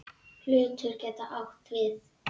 Hlutur getur átt við